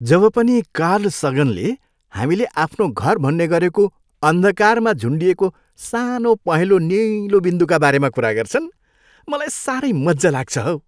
जब पनि कार्ल सगनले हामीले आफ्नो घर भन्ने गरेको अन्धकारमा झुन्डिएको सानो पहेँलो निलो बिन्दुका बारेमा कुरा गर्छन्, मलाई साह्रै मजा लाग्छ हौ।